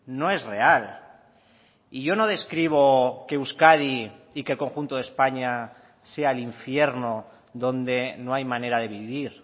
no es real y yo no describo que euskadi y que el conjunto de españa sea el infierno donde no hay manera de vivir